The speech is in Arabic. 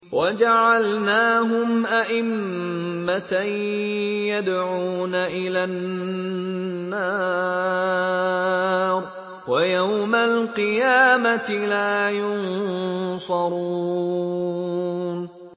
وَجَعَلْنَاهُمْ أَئِمَّةً يَدْعُونَ إِلَى النَّارِ ۖ وَيَوْمَ الْقِيَامَةِ لَا يُنصَرُونَ